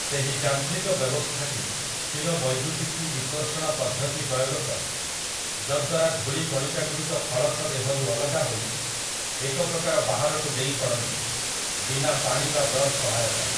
ସେହି ଯାନ୍ତ୍ରିକ ବ୍ୟବସ୍ଥାଟି ସ୍ଥିରବୈଦ୍ୟୁତିକି ବିକର୍ଷଣ ପଦ୍ଧତି ପ୍ରୟୋଗ କରେ, ଯଦ୍ୱାରା ଧୂଳି କଣିକାଗୁଡ଼ିକ ଫଳକ ଦେହରୁ ଅଲଗା ହୋଇ ଏକପ୍ରକାର ବାହାରକୁ ଡେଇଁ ପଡ଼ନ୍ତି, ବିନା ପାଣି ବା ବ୍ରଶ ସହାୟତାରେ ।